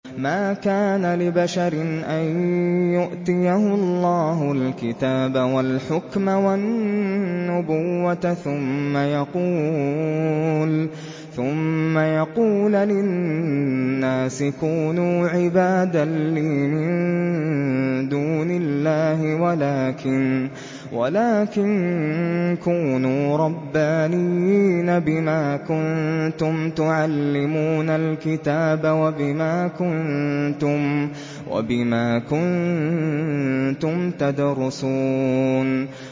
مَا كَانَ لِبَشَرٍ أَن يُؤْتِيَهُ اللَّهُ الْكِتَابَ وَالْحُكْمَ وَالنُّبُوَّةَ ثُمَّ يَقُولَ لِلنَّاسِ كُونُوا عِبَادًا لِّي مِن دُونِ اللَّهِ وَلَٰكِن كُونُوا رَبَّانِيِّينَ بِمَا كُنتُمْ تُعَلِّمُونَ الْكِتَابَ وَبِمَا كُنتُمْ تَدْرُسُونَ